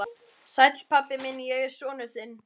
Sæll, pabbi minn, ég er sonur þinn.